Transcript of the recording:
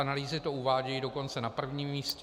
Analýzy to uvádějí dokonce na prvním místě.